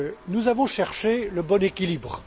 Nous avons cherché le bon équilibre.